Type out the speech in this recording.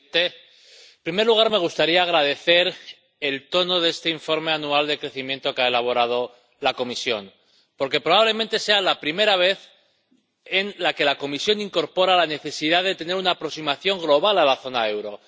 Señor presidente, en primer lugar me gustaría agradecer el tono de este informe anual sobre el crecimiento que ha elaborado la Comisión, porque probablemente sea la primera vez en la que la Comisión incorpora la necesidad de tener una aproximación global a la zona del euro.